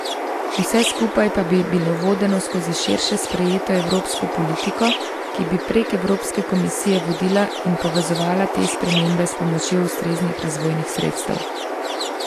Vse skupaj pa bi bilo vodeno skozi širše sprejeto evropsko politiko, ki bi prek Evropske komisije vodila in povezovala te spremembe s pomočjo ustreznih razvojnih sredstev.